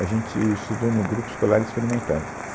A gente estudou no Grupo Escolar Experimental